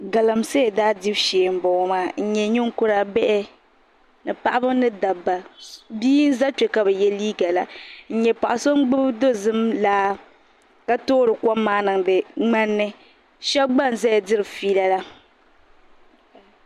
Galamsee daa dibu shee n boŋo maa n nyɛ ninkura bihi ni paɣaba ni dabba bia n ʒɛ kpɛ ka bi yɛ liiga la n nyɛ paɣa so n gbubi dozim laa ka toori kom maa niŋdi ŋmani ni shab gba n ʒɛya diri fiila la